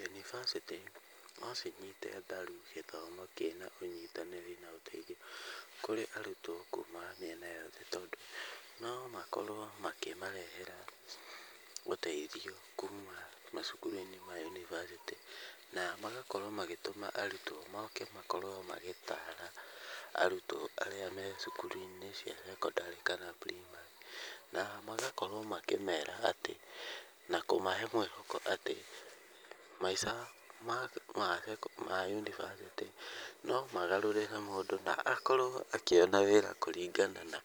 Yunibacĩtĩ no cinyite mbaru gĩthomo kĩna ũnyitanĩri na ũteithio kũrĩ arutwo kuma mĩena yothe, tondũ no makorwo makĩmarehera ũteithio kuma macukuru-inĩ ma yunibacĩtĩ, na magakorwo magatũma arutwo moke na makorwo magĩtara arutwo arĩa me cukuru-inĩ cia cekondarĩ kana primary na magakorwo makĩmera atĩ na kũmahe mwĩhoko atĩ, maica ma yunibacĩtĩ no magarũrĩre mũndũ na akorwo akĩona wĩra kũringana na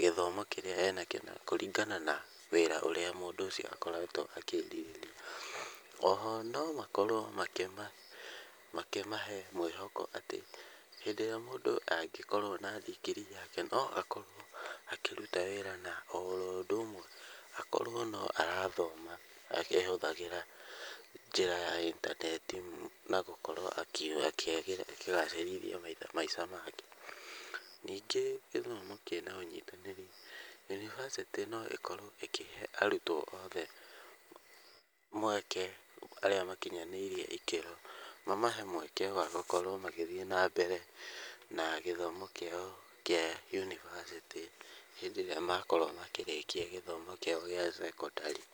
gĩthomo kĩrĩa ena kĩo, na kũringana na wĩra ũrĩa ũrĩa mũndũ ũcio akoretwo akĩrirĩria. Oho no makorwo makĩmahe mwĩhoko atĩ, hĩndĩ ĩrĩa mũndũ angĩkorwo na ndigiri yake no akorwo akĩruta wĩra na oro ũndũ ũmwe akorwo no arathoma, akĩhũthagĩra njĩra ya intaneti na gũkorwo akĩgacĩrithia maica make. Ningĩ gĩthomo kĩna ũnyitanĩri, yunibacĩtĩ no ĩkorwo ĩkĩhe arutwo othe mweke arĩa makinyanĩirie ikĩro, mamahe mweke wa gũkorwo magĩthiĩ nambere na gĩthomo kĩao kĩa yunibacĩtĩ hĩndĩ ĩrĩa makorwo makĩrĩkia gĩthomo kĩao gĩa cekondarĩ.